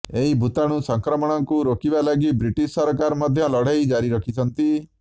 ଏହି ଭୂତାଣୁ ସଂକ୍ରମଣକୁ ରୋକିବା ଲାଗି ବ୍ରିଟିଶ୍ ସରକାର ମଧ୍ୟ ଲଢେଇ ଜାରି ରଖିଛନ୍ତି